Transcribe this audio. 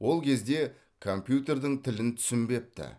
ол кезде компьютердің тілін түсінбепті